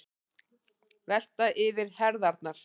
Velta yfir herðarnar.